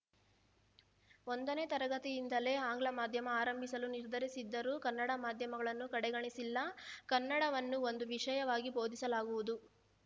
ಒಂದನೇ ತರಗತಿಯಿಂದಲೇ ಆಂಗ್ಲ ಮಾಧ್ಯಮ ಆರಂಭಿಸಲು ನಿರ್ಧರಿಸಿದ್ದರೂ ಕನ್ನಡ ಮಾಧ್ಯಮಗಳನ್ನೂ ಕಡೆಗಣಿಸಿಲ್ಲ ಕನ್ನಡವನ್ನು ಒಂದು ವಿಷಯವಾಗಿ ಬೋಧಿಸಲಾಗುವುದು